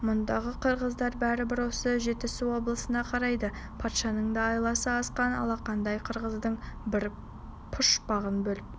мұндағы қырғыздар бәрібір осы жетісу облысына қарайды патшаның да айласы асқан алақандай қырғыздың бір пұшпағын бөліп